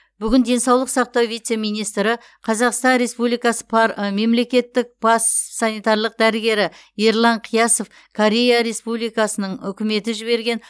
бүгін денсаулық сақтау вице министрі қазақстан республикасы мемлекеттік бас санитарлық дәрігері ерлан қиясов корея республикасының үкіметі жіберген